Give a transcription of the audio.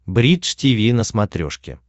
бридж тиви на смотрешке